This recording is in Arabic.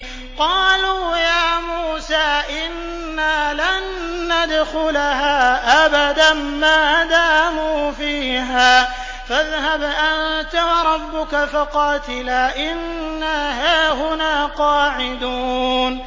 قَالُوا يَا مُوسَىٰ إِنَّا لَن نَّدْخُلَهَا أَبَدًا مَّا دَامُوا فِيهَا ۖ فَاذْهَبْ أَنتَ وَرَبُّكَ فَقَاتِلَا إِنَّا هَاهُنَا قَاعِدُونَ